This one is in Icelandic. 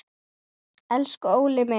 Elsku Óli minn.